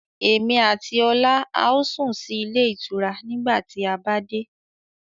Èmi àti ọlá a ó sún sì ilé ìtura nígbà tí a bá dé.